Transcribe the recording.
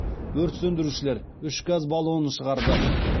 өрт сөндірушілер үш газ баллонын шығарды